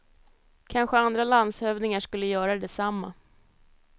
Kanske andra landshövdingar skulle göra detsamma.